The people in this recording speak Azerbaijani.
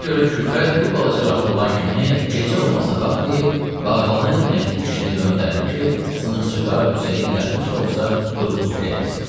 Buna görə Külfət bir balaca rahat olan kimi, gecə olmasına baxmayıb bağbanı Mehdi kişini göndərdi ki, sınıxçı Qara Hüseyni yatmış da olsa durğuzub gətirsin.